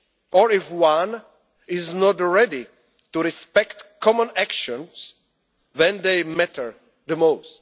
and powers. Or if one is not ready to respect common actions when they matter